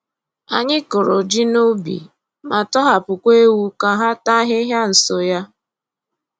Anyị kụrụ ji n’ubi ma tọhapụkwa ewu ka ha taa ahịhịa nso ya.